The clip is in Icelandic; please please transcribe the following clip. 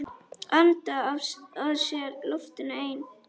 Anda að sér loftinu ein.